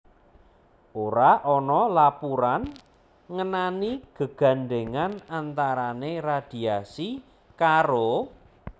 Ora ana lapuran ngenani gegandhèngan antarané radiasi karo